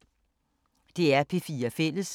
DR P4 Fælles